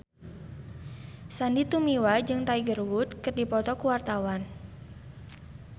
Sandy Tumiwa jeung Tiger Wood keur dipoto ku wartawan